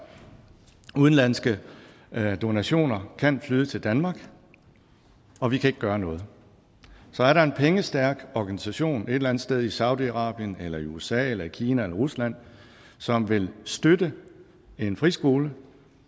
udenlandske donationer kan flyde til danmark og vi kan ikke gøre noget så er der en pengestærk organisation et eller andet sted i saudi arabien eller i usa eller i kina eller rusland som vil støtte en friskole